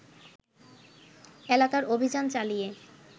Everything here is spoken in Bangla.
এলাকার অভিযান চালিয়ে